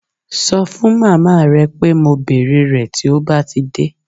Ṣọ fún màmá rẹ pé mo bèrè rẹ̀ tí ó bá ti dé